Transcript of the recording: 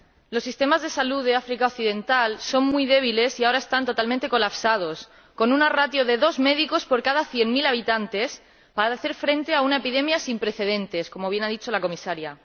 Los sistemas de salud de África occidental son muy débiles y ahora están totalmente colapsados, con una ratio de dos médicos por cada cien mil habitantes para hacer frente a una epidemia sin precedentes, como bien ha dicho la Comisaria.